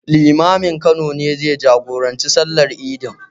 Limamin Kano ne zai jagoranci sallar idin.